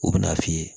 U bɛn'a f'i ye